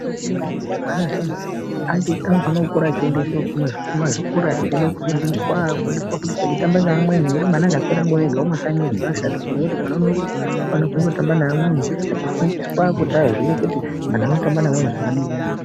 Zvakanaka maningi kuti mwana zviyani anofane kukura achiendeswa kumazvikora echiende kofundiswa eitamba neamweni nekuti mwana akaswera ega kumakanyiyo zvakashata ngekuti mwana unofana kutamba neamweni achifundiswa kuti aziye kuti antu anotamba neamweni zvakadini.